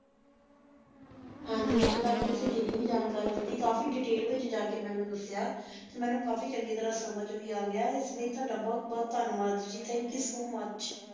ਹਾਂਜੀ ਇਤਹੁ ਤਕ ਤੁਸੀਂ ਜਿਨੀ ਵੇ ਜਾਣਕਾਰੀ ਦਿਤੀ ਕਾਫੀ ਦੇਤੈਲ ਵਿਚ ਜਾ ਕੀ ਮੇਨੂ ਦਸ੍ਯ ਮੇਨੂ ਕਾਫੀ ਚੰਗੀ ਤਰਹ ਸਮਝ ਵੇ ਆ ਗਏ ਇਸੀ ਲਾਏ ਤ੍ਵਾਦਾ ਬੁਹਤ ਬੁਹਤ ਧਨਿਵਾਦ ਜੀ ਥਾਨਕ ਯੋਊ ਸੋ ਮੁਚ